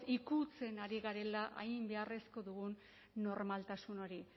ikutzen ari garela hain beharrezko dugun normaltasun hori